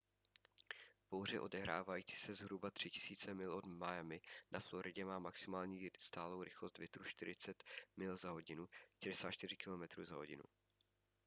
bouře odehrávající se zhruba 3 000 mil od miami na floridě má maximální stálou rychlost větru 40 mil/h 64 km/h